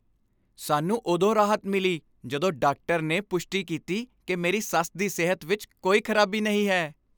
ਸਾਨੂੰ ਉਦੋਂ ਰਾਹਤ ਮਿਲੀ ਜਦੋਂ ਡਾਕਟਰ ਨੇ ਪੁਸ਼ਟੀ ਕੀਤੀ ਕਿ ਮੇਰੀ ਸੱਸ ਦੀ ਸਿਹਤ ਵਿੱਚ ਕੋਈ ਖਰਾਬੀ ਨਹੀਂ ਹੈ।